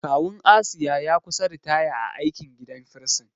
Kawun Asiya ya kusa ritaya a aikin gadin firsin.